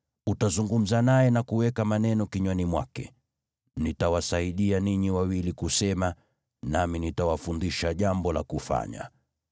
Utazungumza naye na kuweka maneno kinywani mwake. Nitawasaidia ninyi wawili kusema, nami nitawafundisha jambo la kufanya.